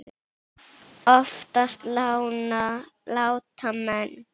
Oftast láta menn